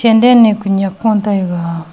pendal ni ku nyiak ku taiga.